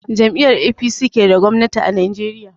Jam'iyar APC ke da gwamnati a Najeriya.